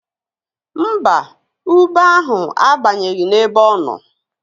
Mba, ube ahụ abanyeghị n'ebe ọ nọ